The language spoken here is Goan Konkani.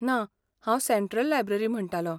ना, हांव सँट्रल लायब्ररी म्हणटालो.